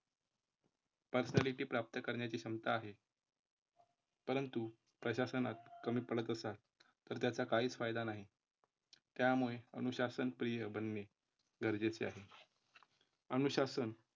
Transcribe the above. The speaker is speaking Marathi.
Personality प्राप्त करण्याची क्षमता आहे. परंतु प्रशासनात कमी पडत असाल तर त्याचा काहीच फायदा नाही. त्यामुळे अनुशासन प्रिय बनणे गरजेचे आहे. अनुशासन